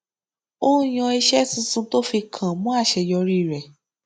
ó yàn iṣé tuntun tó fi kàn mọ àṣeyọrí rẹ